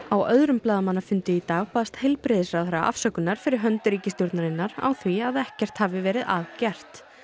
á öðrum blaðamannafundi í dag baðst heilbrigðisráðherra afsökunar fyrir hönd ríkisstjórnarinnar á því að ekkert hafi verið að gert